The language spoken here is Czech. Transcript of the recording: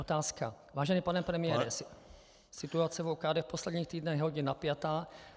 Otázka: Vážený pane premiére, situace v OKD v posledních týdnech je hodně napjatá -